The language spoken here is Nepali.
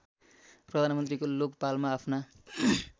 प्रधानमन्त्रीको लोकपालमा आफ्ना